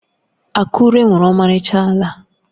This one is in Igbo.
Akure nwere ọmarịcha ala.